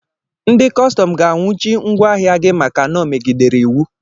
Ndị kọstọm ga-anwụchi ngwaahịa gi maka na ọ megidere Iwu.